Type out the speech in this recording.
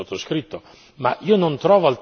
l'accordo che era stato sottoscritto.